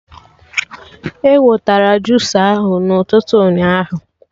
E wetara jusa ahụ na ụtụtụ ụnyaahụ